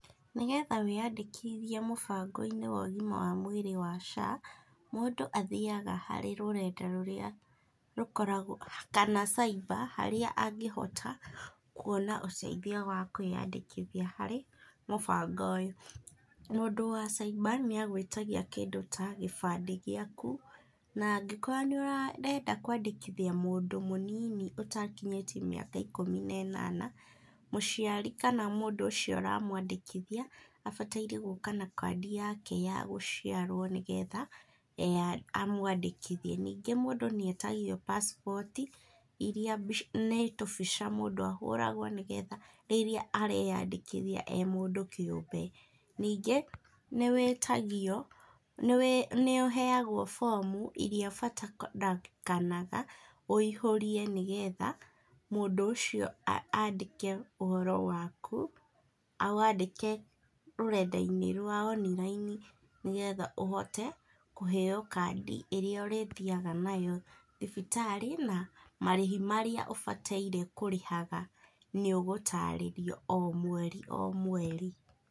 Nĩgetha wĩ yandĩkithie mũbango-inĩ wa ũgima wa mwĩrĩ wa SHA, mũndũ athiaga harĩ rũrenda-inĩ rũrĩa rũkoragwo kana cyber harĩa angĩhota kwona ũteithio wa kwĩyandĩkithia harĩ mũbango ũyũ, mũndũ wa cyber nĩ agwĩtagia kĩndũ ta kĩbandĩ gĩaku na angĩkorwo nĩ ũrenda kwandĩkithia mũndũ mũnini ũtakinyĩtie mĩaka ikũmi na ĩnana, mũciari kana mũndũ ũcio ũramwandĩkithia abataire gũka na kandi yake ya gũciarwo nĩgetha akwandĩkithie, ningĩ mũndũ nĩ etagio passport iria nĩ tũbica mũndũ ahũragwo nĩgetha rĩrĩa areyandĩkithia ee mũndũ kĩũmbe. Ningĩ nĩ ũheagwo bomu iria ũbatarĩkanaga woiyũrie nĩgetha mũndũ ũcio andĩke ũhoro waku, awandĩke rũrenda inĩ rwa online nĩgetha ũhote kũheo kandi ĩrĩa ũrĩthiaga nayo thibitarĩ na marĩhi marĩa ũbataire kũrĩhaga nĩ ũgũtarĩrio o mweri o mweri.